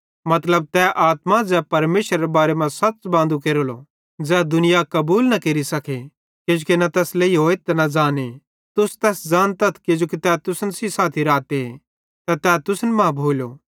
मतलब तै आत्मा ज़ै परमेशरेरे बारे मां सच़ बांदू केरेली ज़ै दुनिया कबूल न केरि सके किजोकि न तैस लेइहोए न ज़ाने तुस तैस ज़ातथ किजोकि तै तुसन साथी रहती ते तै तुसन मां भोली